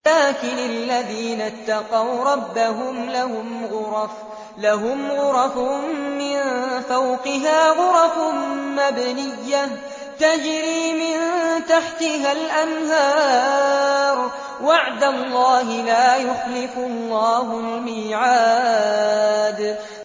لَٰكِنِ الَّذِينَ اتَّقَوْا رَبَّهُمْ لَهُمْ غُرَفٌ مِّن فَوْقِهَا غُرَفٌ مَّبْنِيَّةٌ تَجْرِي مِن تَحْتِهَا الْأَنْهَارُ ۖ وَعْدَ اللَّهِ ۖ لَا يُخْلِفُ اللَّهُ الْمِيعَادَ